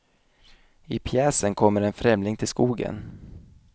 I pjäsen kommer en främling till skogen.